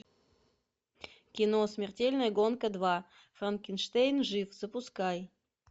кино смертельная гонка два франкенштейн жив запускай